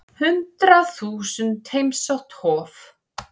Hundrað þúsund heimsótt Hof